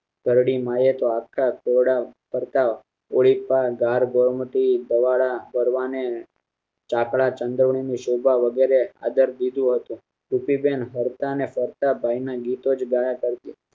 ઘરડી મા એ આખા ખોરડાં ઓરી પ ગાર ગોર વાળા ચાકળા ચંદવની ની શોભા વગેરે આદર દીધી હતી સ્થિતિ જાણ ફરતા ને ફરતા ગાય ના ગીતો જ ગાયા કરતી